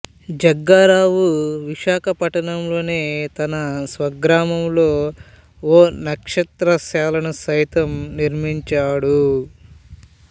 జగ్గారావు విశాఖపట్నంలోని తన స్వగ్రామంలో ఓ నక్షత్రశాలను సైతం నిర్మించాడు